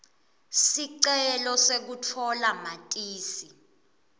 sicelo sekutfola matisi